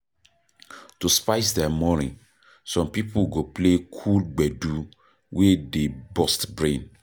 To spice their morning, some pipo go play cool gbedu wey dey burst brain